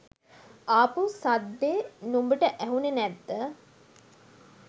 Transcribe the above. ආපු සද්දෙ නුඹට ඇහුනෙ නැද්ද?